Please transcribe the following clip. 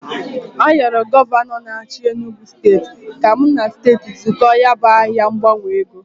Ayoro Gọvanọ n'achi Enugu steti ka m na steti zụkọọ ya bụ ahịa ngbanwe ego.